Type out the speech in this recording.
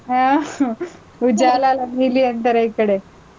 ಹ್ಮ್ Ujala ಅಲ್ಲ ನೀಲಿ ಅಂತಾರೆ ಈ ಕಡೆ.